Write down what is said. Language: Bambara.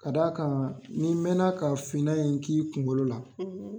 Ka d' a kan n' mɛna ka finan in kɛ i kunkolo la.